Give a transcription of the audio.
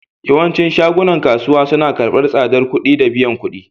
Yawancin shagunan kasuwa suna karbar tsabar kudi da biyan kudi.